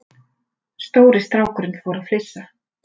Stóri strákurinn fór að flissa.